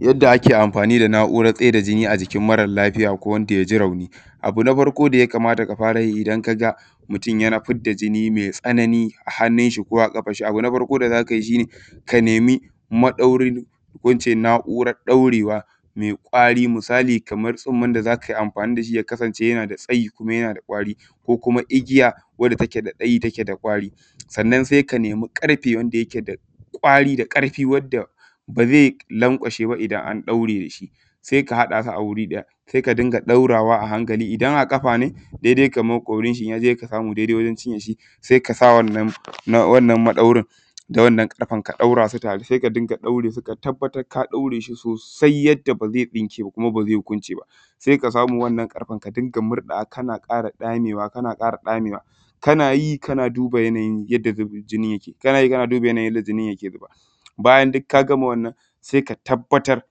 Yadda nake amfani da na’urar tsaida jini a jikin mara lafiya ko wanda ya ji rauni, abun na farko da yakamata ka fara yi idan ka ga mutum yana fidda jini me tsanani a hannun shi ko a ƙafan shi. Abu na farko da za ka yi shi ne ka nemi maɗaurin ko in ce na’urar ɗorewa me kwari misali kamar tsumman da za kai amfani da shi yakasance yana da tsayi kuma yana da kwari kuma igiya wadda take da tsayi take da kwari. Sannan se ka nemi ƙarfe inda yake da kwari da ƙarfi wadda ba ze lauƙwashe ba, idan an ɗaure da shi se ka haɗa a wuri ɗaya se ka dinga ɗaurawa a hankali idan a kafa ne daidai kamar ƙorin shi in ya je ka samu daidai wajen cinyan shi se ka sa wannan maɗaurin da wannan ƙarfen ka ɗaurasu tare. Se ta din ga ɗaure su ka tabbatar ka ɗaure su sosai yadda ba ze tsinke ba kuma kwance ba, se ka samu wannan ƙarfen ka dinga murɗawa kana ƙara ɗamewa, kana ƙara ɗame wa kana yi kana duba yanayin yadda zuban jinin yake, kana duba yadda yanayin jinin yake zuba bayan duk ka gama wannan se ka tabbatar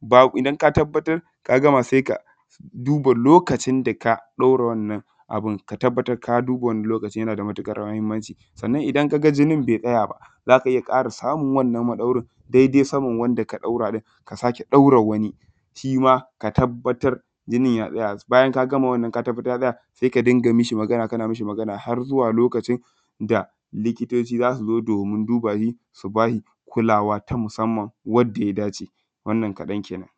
babu idan ka tabbatar ka gama se ka duba lokacin da ka ɗaura wannan abun. Ka tabbatar ka duba wannan lokacin yana da matuƙar mahinmanci sannan idan ka ga jinin be tsaya ba za ka iya ƙara samun wannan maɗaurin daidai saman wanda ka ɗaura in ka sake ɗaura wani shi ma ka tabbatar jinin ya tsaya. Bayan ka gama wanann ka tabbatar ya tsaya se ka dinga mi shi Magana, kana mi shi magana har zuwa lokacin da likitoci za su zo domin duba shi, su ba shi kulawa ta musamman wadda ya dace; wannan kaɗan kenan.